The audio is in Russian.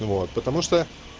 вот потому что